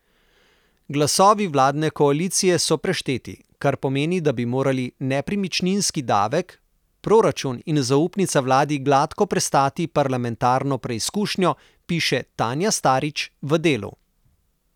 Glasovi vladne koalicije so prešteti, kar pomeni, da bi morali nepremičninski davek, proračun in zaupnica vladi gladko prestati parlamentarno preizkušnjo, piše Tanja Starič v Delu.